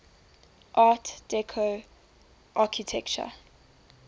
art deco architecture